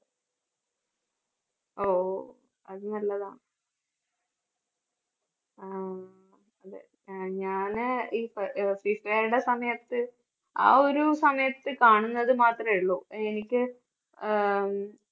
ഓ അത് നല്ലതാ അഹ് ഉം അതേ ഞാന് ഈ ഫിഫയുടെ സമയത്ത് ആ ഒരു സമയത്ത് കാണുന്നത് മാത്രമേയുള്ളൂ എനിക്ക് ആഹ് ഉം